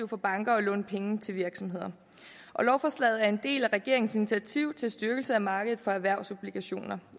for banker at låne penge til virksomheder lovforslaget er en del af regeringens initiativ til styrkelse af markedet for erhvervsobligationer